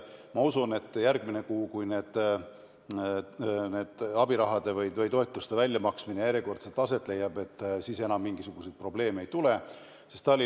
Ma usun, et järgmine kuu, kui abiraha või toetuste väljamaksmine järjekordselt aset leiab, enam mingisuguseid probleeme ei tule.